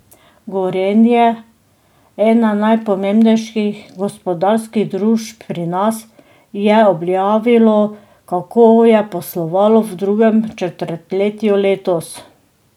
Gorenje, ena najpomembnejših gospodarskih družb pri nas, je objavilo, kako je poslovalo v drugem četrtletju letos.